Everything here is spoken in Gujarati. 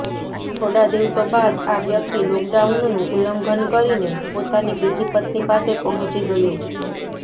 થોડા દિવસો બાદ આ વ્યક્તિ લોકડાઉનનું ઉલ્લંઘન કરીને પોતાની બીજી પત્ની પાસે પહોંચી ગયો